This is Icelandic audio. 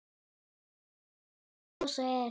Algeng hæð gosa er